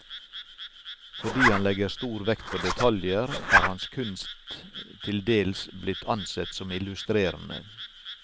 Fordi han legger stor vekt på detaljer, er hans kunst til dels blitt ansett som illustrerende.